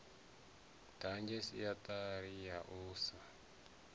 ḓadze redzhisiṱara ya u sa